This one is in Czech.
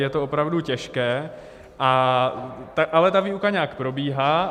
Je to opravdu těžké, ale ta výuka nějak probíhá.